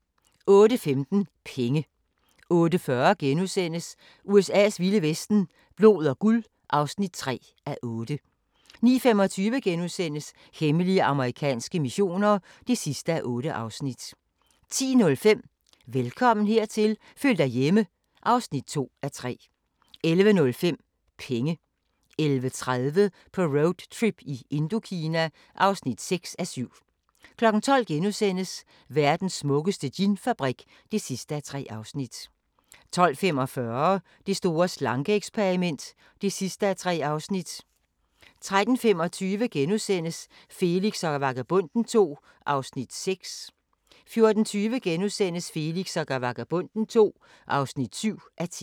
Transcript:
08:15: Penge 08:40: USA's vilde vesten: Blod og guld (3:8)* 09:25: Hemmelige amerikanske missioner (8:8)* 10:05: Velkommen hertil – føl dig hjemme (2:3) 11:05: Penge 11:30: På roadtrip i Indokina (6:7) 12:00: Verdens smukkeste ginfabrik (3:3)* 12:45: Det store slanke-eksperiment (3:3) 13:35: Felix og Vagabonden II (6:10)* 14:20: Felix og Vagabonden II (7:10)*